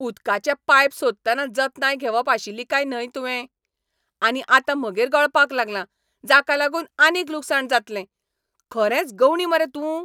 उदकाचें पायप सोदतना जतनाय घेवप आशिल्ली काय न्हय तुवें? आनी आतां म्हगेर गळपाक लागलां, जाका लागून आनीक लुकसाण जातलें! खरेंच गंवडी मरे तूं?